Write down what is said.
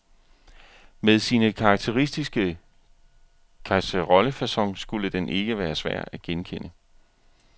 Med sin karakteristiske kasserollefacon skulle den ikke være svær at genkende.